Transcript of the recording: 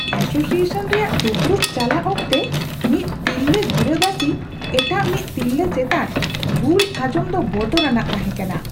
Association ᱨᱮᱭᱟᱜ ᱫᱩᱯᱩᱲᱩᱵ ᱪᱟᱞᱟᱜ ᱚᱠᱛᱮ ᱢᱤᱫ ᱛᱤᱨᱞᱟᱹ ᱜᱤᱨᱟᱹᱵᱟᱹᱥᱤ ᱮᱴᱟᱜ ᱢᱤᱫ ᱛᱤᱨᱞᱟᱹ ᱪᱮᱛᱟᱱ ᱜᱩᱞ ᱟᱸᱡᱚᱢ ᱫᱚ ᱵᱚᱛᱚᱨᱟᱱᱟᱜ ᱛᱟᱦᱮᱸᱠᱟᱱᱟ ᱾